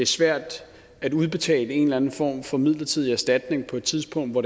svært at udbetale en eller anden form for midlertidig erstatning på et tidspunkt hvor